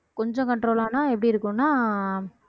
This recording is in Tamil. கொஞ்சம் control ஆனா எப்படி இருக்கும்னா